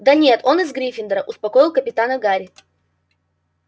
да нет он из гриффиндора успокоил капитана гарри